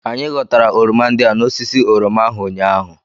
Anyị ghọtara oroma ndị a n'osisi oroma ahụ ụnyaahụ